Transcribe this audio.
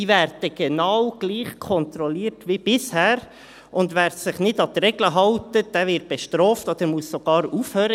Diese werden genau gleich wie bisher kontrolliert, und wer sich nicht an die Regeln hält, wird bestraft oder muss sogar aufhören.